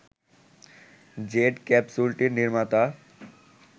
jet ক্যাপসুলটির নির্মাতা